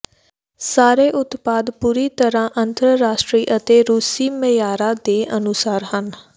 ਸਾਰੇ ਉਤਪਾਦ ਪੂਰੀ ਤਰ੍ਹਾਂ ਅੰਤਰਰਾਸ਼ਟਰੀ ਅਤੇ ਰੂਸੀ ਮਿਆਰਾਂ ਦੇ ਅਨੁਸਾਰ ਹਨ